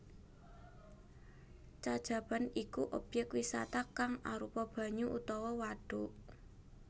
Cacaban iku obyek wisata kang arupa banyu utawa wadhuk